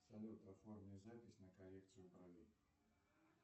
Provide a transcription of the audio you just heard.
салют оформи запись на коррекцию бровей